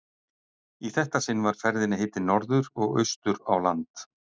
Í þetta sinn var ferðinni heitið norður og austur á land.